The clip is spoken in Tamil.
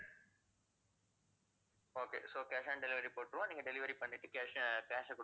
okay so cash on delivery போட்டுருவோம் நீங்க delivery பண்ணிட்டு cash ஐ cash ஆ குடுத்துருங்க.